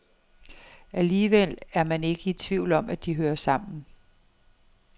Alligevel er man ikke i tvivl om, at de hører sammen.